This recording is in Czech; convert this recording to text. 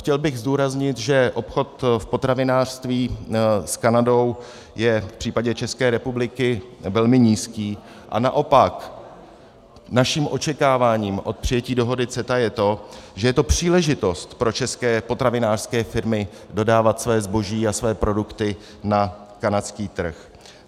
Chtěl bych zdůraznit, že obchod v potravinářství s Kanadou je v případě České republiky velmi nízký a naopak naším očekáváním od přijetí dohody CETA je to, že je to příležitost pro české potravinářské firmy dodávat své zboží a své produkty na kanadský trh.